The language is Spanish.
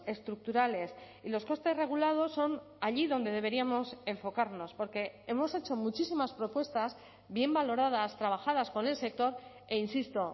estructurales y los costes regulados son allí donde deberíamos enfocarnos porque hemos hecho muchísimas propuestas bien valoradas trabajadas con el sector e insisto